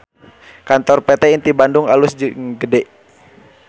Kantor PT Inti Bandung alus jeung gede